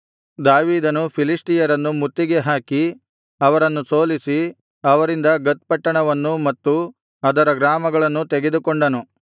ದಾವೀದನು ಫಿಲಿಷ್ಟಿಯರನ್ನು ಮುತ್ತಿಗೆಹಾಕಿ ಅವರನ್ನು ಸೋಲಿಸಿ ಅವರಿಂದ ಗತ್ ಪಟ್ಟಣವನ್ನೂ ಮತ್ತು ಅದರ ಗ್ರಾಮಗಳನ್ನೂ ತೆಗೆದುಕೊಂಡನು